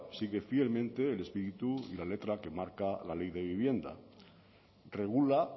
sigue fielmente el espíritu y la letra que marca la ley de vivienda regula